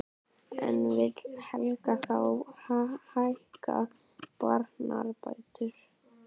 En vill Helgi þá hækka barnabætur?